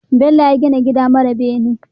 Bello ya gina gida mara bene